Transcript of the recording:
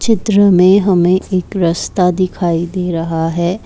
चित्र में हमें एक रस्ता दिखाई दे रहा है।